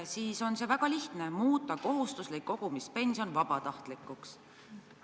See on väga lihtne: muuta kohustuslik kogumispension vabatahtlikuks.